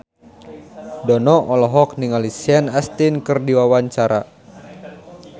Dono olohok ningali Sean Astin keur diwawancara